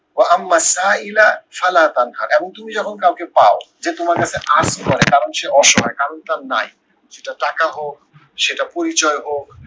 এমন তুমি যখন কাউকে পাও যে তোমার কাছে করে কারণ সে অসহায় কারণ তার নাই, সেটা টাকা হোক, সেটা পরিচয় হোক,